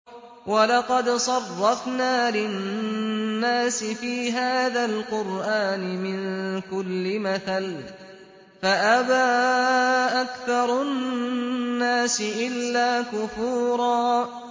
وَلَقَدْ صَرَّفْنَا لِلنَّاسِ فِي هَٰذَا الْقُرْآنِ مِن كُلِّ مَثَلٍ فَأَبَىٰ أَكْثَرُ النَّاسِ إِلَّا كُفُورًا